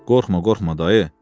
Qorxma, qorxma dayı.